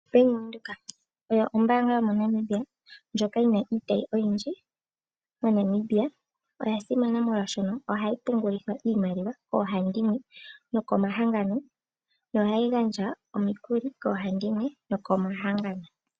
Bank Windhoek oyo ombaanga yomoNamibia ndjoka yina iitayi oyindji moNamibia. Oya simana molwaashono ohayi pungulitha iimaliwa koohandimwe nokomahangano yo ohayi gandja omikuli koohandimwe nokomahangano.